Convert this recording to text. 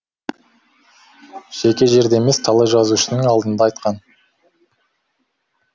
жеке жерде емес талай жазушының алдында айтқан